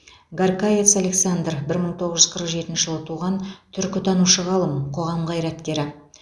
гарькавец александр бір мың тоғыз жүз қырық жетінші жылы туған түркітанушы ғалым қоғам қайраткері